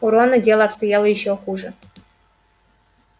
у рона дело обстояло ещё хуже